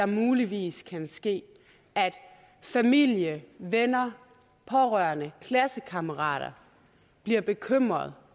muligvis kan ske er at familie venner pårørende og klassekammerater bliver bekymrede